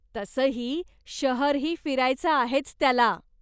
तसंही, शहरही फिरायचं आहेच त्याला.